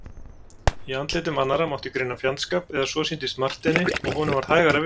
Í andlitum annarra mátti greina fjandskap, eða svo sýndist Marteini og honum varð hægara við.